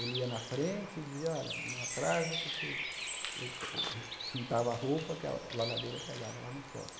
Ele ia na frente e dizia, olha, não atrasa que você... Eh juntava a roupa que a la lavadeira pegava lá no foto.